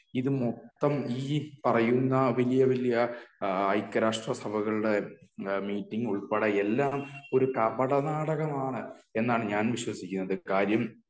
ഇത് മൊത്തം ഈ പറയുന്ന വലിയ വലിയ ഐക്യരാഷ്ട്ര സഭകളുടെ മീറ്റിംഗ് ഉൾപ്പടെ എല്ലാംഒരു കപട നാടകമാണ് എന്നാണ് ഞാൻ വിശ്വാസിക്കുന്നത്.